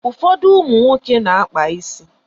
Ụfọdụ ụmụ nwoke na-akpazi isi.